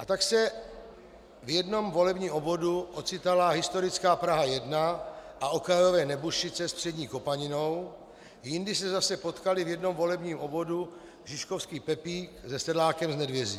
A tak se v jednom volebním obvodu ocitala historická Praha 1 a okrajové Nebušice s Přední Kopaninou, jindy se zase potkali v jednom volebním obvodu žižkovský Pepík se sedlákem z Nedvězí.